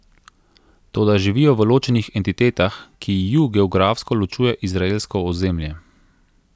Toda živijo v ločenih entitetah, ki ju geografsko ločuje izraelsko ozemlje.